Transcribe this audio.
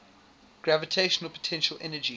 gravitational potential energy